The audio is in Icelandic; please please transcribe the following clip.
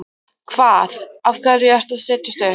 Hvað. af hverju ertu að setjast upp?